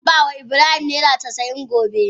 Zan ba ma Ibrahim naira casa'in gobe.